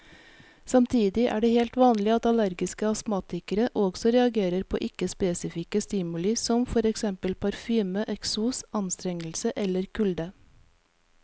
Samtidig er det helt vanlig at allergiske astmatikere også reagerer på ikke spesifikke stimuli som for eksempel parfyme, eksos, anstrengelse eller kulde.